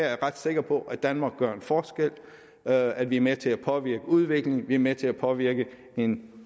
jeg ret sikker på at danmark gør en forskel at at vi er med til at påvirke udviklingen at vi er med til at påvirke en